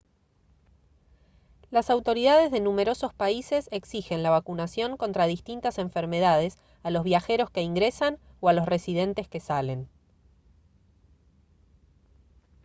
las autoridades de numerosos países exigen la vacunación contra distintas enfermedades a los viajeros que ingresan o a los residentes que salen